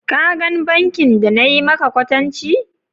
ka gan bankin da na yi maka kwatanci?